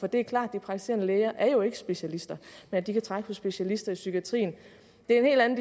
det er klart at praktiserende læger ikke er specialister men de kan trække på specialister i psykiatrien det er en